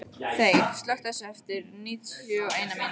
Þeyr, slökktu á þessu eftir níutíu og eina mínútur.